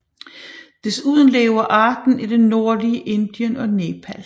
Desuden lever arten i det nordlige Indien og Nepal